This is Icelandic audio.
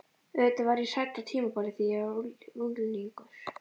Auðvitað var ég hrædd á tímabili, þegar ég var unglingur.